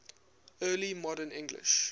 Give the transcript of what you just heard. early modern english